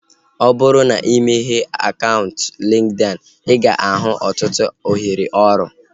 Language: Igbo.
Ọ bụrụ na imeghe akaụntụ LinkedIn, ị ga-ahụ ọtụtụ ohere ọrụ